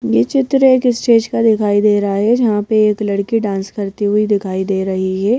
ये चित्र एक स्टेज का दिखाई दे रहा है जहां पर एक लड़की डांस करती हुई दिखाई दे रही है।